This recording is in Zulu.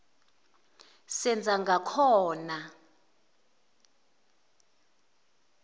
senzangakhona